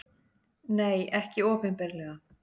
Nei, ekki opinberlega.